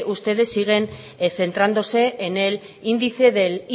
ustedes siguen centrándose en el índice del